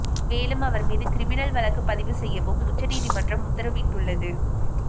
மேலும் அவர் மீது கிரிமினல் வழக்குப் பதிவு செய்யவும் உச்ச நீதிமன்றம் உத்தரவிட்டுள்ளது